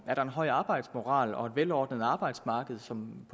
er en høj arbejdsmoral og et velordnet arbejdsmarked som